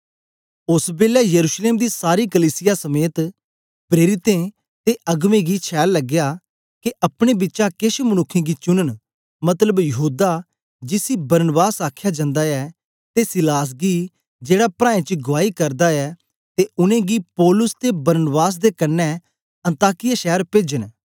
ओस बेलै यरूशलेम दी सारी कलीसिया समेत प्रेरितें ते अगबें गी छैल लगया के अपने बिचा केछ मनुक्खें गी चुनन मतलब यहूदा जिसी बरनबास आखया जन्दा ऐ ते सीलास गी जेड़ा प्राऐं च गुआई करदा ऐ ते उनेंगी पौलुस ते बरनबास दे कन्ने अन्ताकिया शैर पेजन